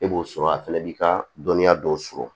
E b'o sɔrɔ a fɛnɛ b'i ka dɔnniya dɔw sɔrɔ